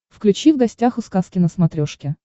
включи в гостях у сказки на смотрешке